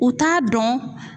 U t'a dɔn